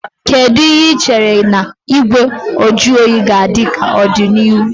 Kedu ihe ị chere na Igwe nju oyi ga-adị ka n'ọdịnihu?